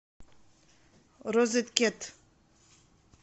розет кет